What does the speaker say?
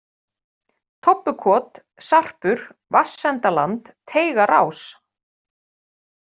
Tobbukot, Sarpur, Vatnsendaland, Teigarás